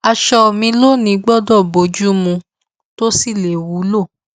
aṣọ mi lónìí gbọdọ bojú mu tó sì lè wúlò